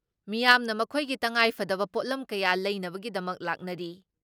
ꯃꯤꯌꯥꯝꯅ ꯃꯈꯣꯏꯒꯤ ꯇꯉꯥꯏꯐꯗꯕ ꯄꯣꯠꯂꯝ ꯀꯌꯥ ꯂꯩꯅꯕꯒꯤꯗꯃꯛ ꯂꯥꯛꯅꯔꯤ ꯫